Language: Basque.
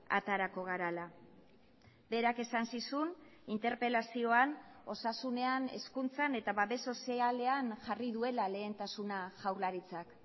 aterako garela berak esan zizun interpelazioan osasunean hezkuntzan eta babes sozialean jarri duela lehentasuna jaurlaritzak